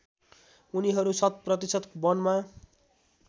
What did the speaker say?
उनीहरू शतप्रतिशत वनमा